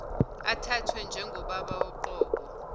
athathwe njengobaba woqobo